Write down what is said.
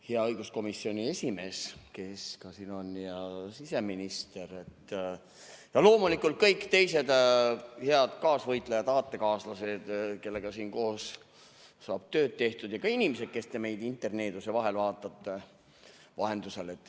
Hea õiguskomisjoni esimees, kes siin on, siseminister ja loomulikult kõik teised head kaasvõitlejad-aatekaaslased, kellega siin koos saab tööd tehtud, ja ka inimesed, kes te meid interneeduse vahendusel vaatate!